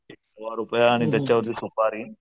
रुपया आणि त्याच्यावरती सुपारी